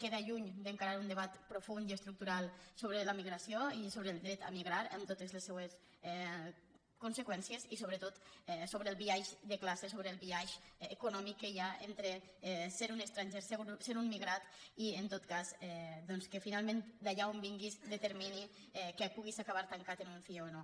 queda lluny d’encarar un debat profund i estructural sobre la migració i sobre el dret a migrar amb totes les seues conseqüències i sobretot sobre el biaix de classe sobre el biaix econòmic que hi ha entre ser un estranger ser un migrat i en tot cas que finalment d’allà on vinguis determini que puguis acabar tancat en un cie o no